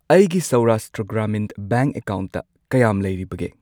ꯑꯩꯒꯤ ꯁꯧꯔꯥꯁꯇ꯭ꯔꯥ ꯒ꯭ꯔꯥꯃꯤꯟ ꯕꯦꯡꯛ ꯑꯦꯀꯥꯎꯟꯠꯇ ꯀꯌꯥꯝ ꯂꯩꯔꯤꯕꯒꯦ?